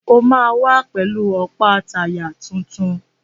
O máa wá pẹ̀lú ọ̀pá táyà tuntun.